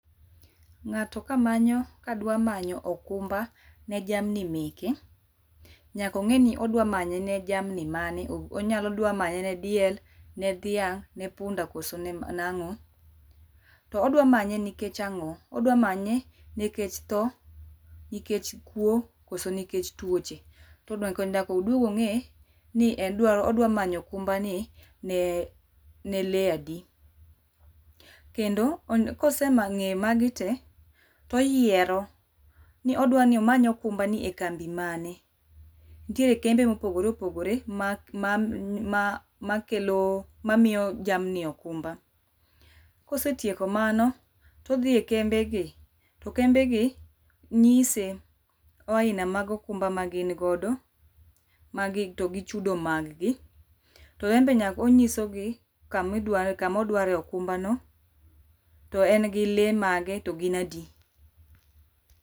Ng'ato kamanyo, kadwa manyo okumba ne jamni meke, nyak ong'i ni odwa manye ne jamni mane onyalo odwa manye ne diel, ne dhiang', ne punda koso ne nang'o? To odwa manye nikech ang'o, odwa manye nekech thoo, nikech kuwo, koso nikech tuoche nyak oduog ong'i, ni en dwaro odwa manyo okumba ni ne ne lee adi kendo, onya koseng'e ma magi tee, to oyiero ni odwani omany okumba ni e kambi mane. Nitiere kembe mopogore opogore mak ma ma makelo mamiyo jamni okumba. Kosetieko mano, todhi e kembe gi, to kembe gi nyise aina mag okumba ma gin godo, magi to gi chudo mag gi. To embe nyak onyisogi, kamidware kamodware e okumba no. To en gi lee mage to gin adi